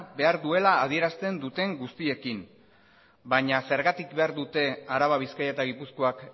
behar duela adierazten duten guztiekin baina zergatik behar dute araba bizkaia eta gipuzkoak